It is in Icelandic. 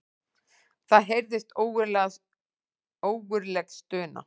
Það heyrðist ógurleg stuna.